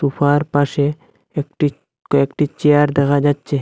সুফার পাশে একটি কয়েকটি চেয়ার দেখা যাচ্ছে।